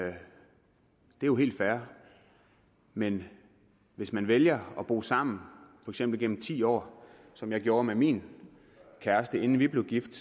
jo helt fair men hvis man vælger at bo sammen for eksempel gennem ti år som jeg gjorde med min kæreste inden vi blev gift